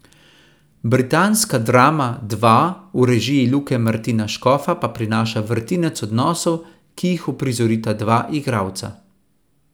Britanska drama Dva v režiji Luke Martina Škofa pa prinaša vrtinec odnosov, ki jih uprizorita dva igralca.